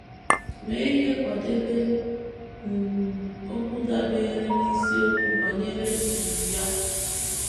mee ihe kwadebe um okwu dabeere n’isiokwu banyere um ya.